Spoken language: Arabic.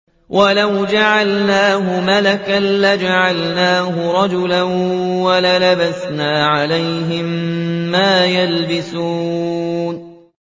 وَلَوْ جَعَلْنَاهُ مَلَكًا لَّجَعَلْنَاهُ رَجُلًا وَلَلَبَسْنَا عَلَيْهِم مَّا يَلْبِسُونَ